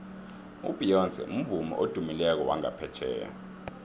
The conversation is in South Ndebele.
ubeyonce mvumi odumileko wangaphetjheya